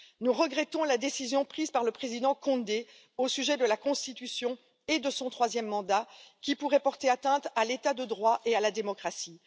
Nous regrettons la décision prise par le président Condé au sujet de la constitution et de son troisième mandat, qui pourrait porter atteinte à l'état de droit et à la démocratie.